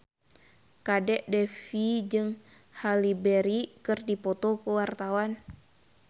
Kadek Devi jeung Halle Berry keur dipoto ku wartawan